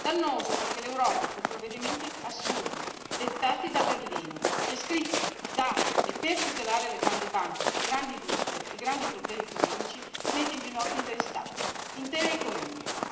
dannoso, perché l'Europa con provvedimenti assurdi, dettati da Berlino, e scritti da e per tutelare le grandi banche, le grandi industrie, i grandi poteri economici, mette in ginocchio interi Stati, intere economie.